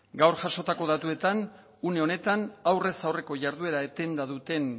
gaur jasotako datuetan une honetan aurrez aurreko jarduera etenda duten